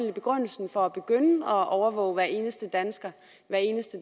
var begrundelsen for at begynde at overvåge hver eneste dansker hver eneste